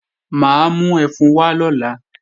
Mà á mú ẹfun wá lọ́la